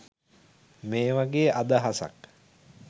මේ වගේ අදහසක්.